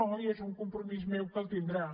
no i és un compromís meu que el tindrà